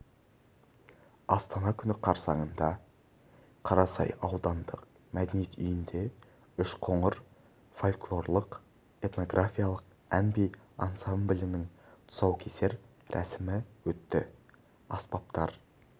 астана күні қарсаңында қарасай аудандық мәдениет үйінде үшқоңыр фольклорлық-этнографиялық ән-би ансамблінің тұсаукесер рәсімі өтті ұлт аспаптар